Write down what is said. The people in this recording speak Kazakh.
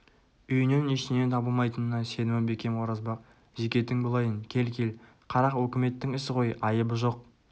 үйінен ештеме табылмайтынына сенімі бекем оразбақ зекетің болайын кел кел қарақ өкіметтің ісі ғой айыбы жоқ